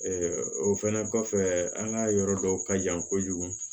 o fɛnɛ kɔfɛ an ka yɔrɔ dɔw ka jan kojugu